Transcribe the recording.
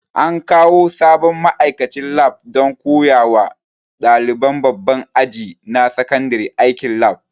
An kawo sabon ma'aikacin lab don koya wa ɗaliban babban aji na sakandare aikin lab